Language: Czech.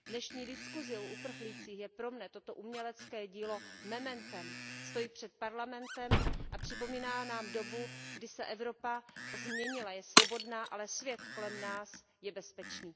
V dnešní diskusi o uprchlících je pro mě toto umělecké dílo mementem, stojí před Parlamentem a připomíná nám dobu, kdy se Evropa změnila, je svobodná, ale svět kolem nás je bezpečný.